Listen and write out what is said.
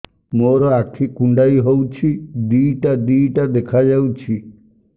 ମୋର ଆଖି କୁଣ୍ଡାଇ ହଉଛି ଦିଇଟା ଦିଇଟା ଦେଖା ଯାଉଛି